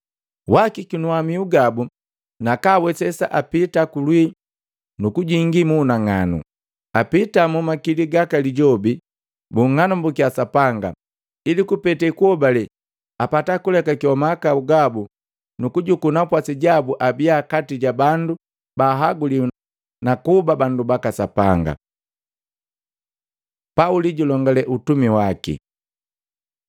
Waakikinua miu gabu naka awesesa apita kulwii nukujingi mu unang'anu, apita mu makili gaka lijobi, bung'anambukiya Sapanga, ili kupete kuhobale, apata kulekakewa mahakau gabu nukujuku napwasi jabu abia kati jabandu ba haguliwi nakuba bandu baka Sapanga.” Pauli julongale utumi waki